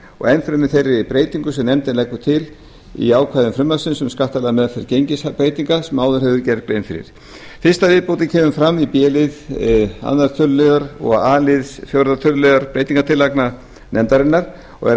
og enn fremur þeirri breytingu sem nefndin leggur til á ákvæðum frumvarpsins um skattalega meðferð gengisbreytinga sem áður hefur verið gerð grein fyrir fyrsta viðbótin kemur fram í b lið öðrum tölulið og a lið fjórða tölulið breytingartillagna nefndarinnar og er